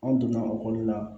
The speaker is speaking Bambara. An donna ekɔli la